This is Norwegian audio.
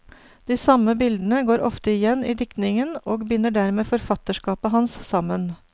De samme bildene går ofte igjen i diktningen og binder dermed forfatterskapet hans sammen.